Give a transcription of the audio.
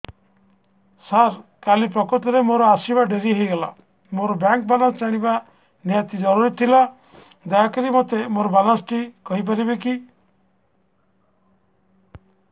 ସାର କାଲି ପ୍ରକୃତରେ ମୋର ଆସିବା ଡେରି ହେଇଗଲା ମୋର ବ୍ୟାଙ୍କ ବାଲାନ୍ସ ଜାଣିବା ନିହାତି ଜରୁରୀ ଥିଲା ଦୟାକରି ମୋତେ ମୋର ବାଲାନ୍ସ ଟି କହିପାରିବେକି